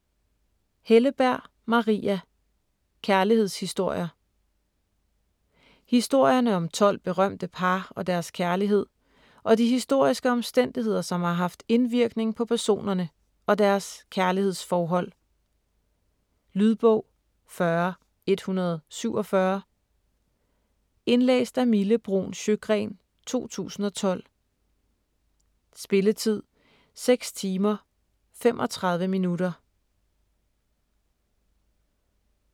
Helleberg, Maria: Kærlighedshistorier Historierne om 12 berømte par og deres kærlighed og de historiske omstændigheder, som har haft indvirkning på personerne og deres kærlighedsforhold. Lydbog 40147 Indlæst af Mille Bruun Sjøgren, 2012. Spilletid: 6 timer, 35 minutter.